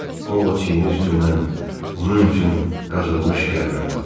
Ovod çiyni üstündən onun üçün qazılmış qəbrə baxdı.